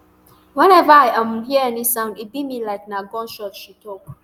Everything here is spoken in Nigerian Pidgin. weneva i um hear any sound e be me like na gunshot she tok